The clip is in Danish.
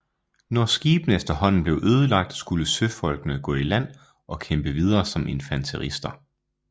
Når skibene efterhånden blev ødelagt skulle søfolkene gå i land og kæmpe videre som infanterister